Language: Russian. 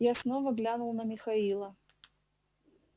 я снова глянул на михаила